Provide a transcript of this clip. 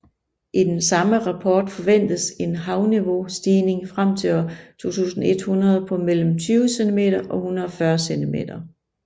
I den samme rapport forventedes en havniveaustigning frem til år 2100 på mellem 20 cm og 140 cm